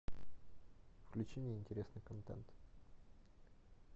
включи мне интересный контент